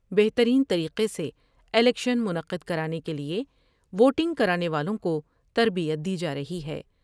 بہترین طریقے سے الیکشن منعقد کرانے کے لئے ووٹنگ کرانے والوں کو تربیت دی جارہی ہے ۔